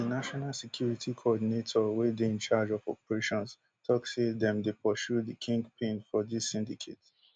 di national security coordinator wey dey in charge of operations tok say dem dey pursue di kingpin for dis syndicate